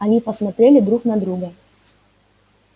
они посмотрели друг на друга